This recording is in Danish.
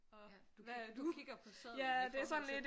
Ja du kigger på sedlen i forhold til